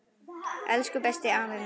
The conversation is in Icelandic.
Elsku besti, afi minn.